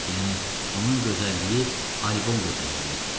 yəni onun gözəlliyi albom gözəlliyi idi.